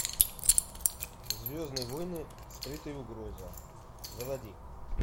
звездные войны скрытая угроза заводи